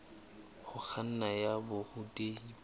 ho kganna ya borutehi bo